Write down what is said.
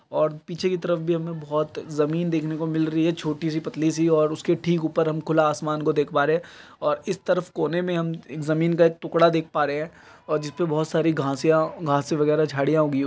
और पीछे की तरफ भी हमें बहुत ज़मीन देखने को मिल रही है छोटी सी पतली सी और उसके ठीक ऊपर हम खुला आसमान को देख पा रहे है और इस तरफ कोने में हम ज़मीन का एक टुकड़ा देख पा रहे हैं और जिसपे बहुत सारी घासियां घांसे वगेरा झाडियां उगी --